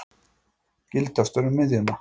Gildastur um miðjuna.